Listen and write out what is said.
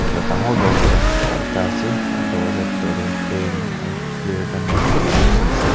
dangor darwaza ekta ase a darwaza bedorte fan aru chair khan dikhi paise.